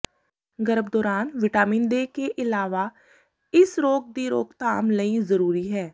ਗਰਭ ਦੌਰਾਨ vitamin K ਦੇ ਇਲਾਵਾ ਇਸ ਰੋਗ ਦੀ ਰੋਕਥਾਮ ਲਈ ਜ਼ਰੂਰੀ ਹੈ